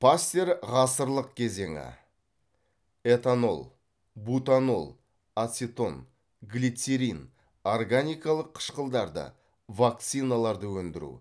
пастер ғасырлық кезеңі этанол бутанол ацетон глицерин органикалық қышқылдарды вакциналарды өндіру